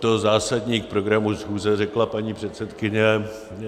To zásadní k programu schůze řekla paní předsedkyně.